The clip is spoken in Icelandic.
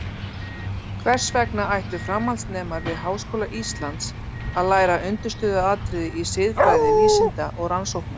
Hvers vegna ættu framhaldsnemar við Háskóla Íslands að læra undirstöðuatriði í siðfræði vísinda og rannsókna?